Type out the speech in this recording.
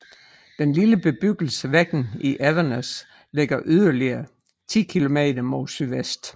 Den lille bebyggelse Veggen i Evenes ligger yderligere ti kilometer mod sydvest